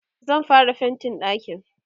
zan fara faintin ɗakin